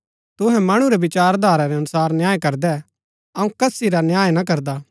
तूहै मणु रै विचार धारा रै अनुसार न्याय करदै अऊँ कसी रा न्याय ना करदा